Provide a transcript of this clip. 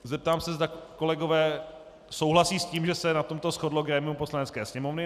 Zeptám se, zda kolegové souhlasí s tím, že se na tom shodlo grémium Poslanecké sněmovny.